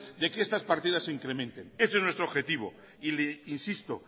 de que estas partidas se incrementen ese es nuestro objetivo insisto